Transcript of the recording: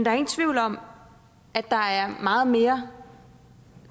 er ingen tvivl om at der er meget mere